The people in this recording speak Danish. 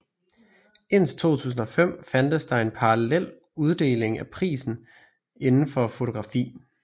Indtil 2005 fandtes der en parallel uddeling af priser indenfor fotografi